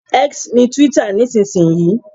X ni twitter nísinsìnyí